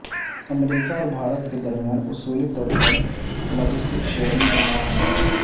امریکا اور بھارت کے درمیان اصولی طور پر لاجسٹک شیئرنگ کا معاہدہ